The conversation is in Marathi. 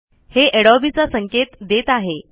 हे अडोबे चा संकेत देत आहे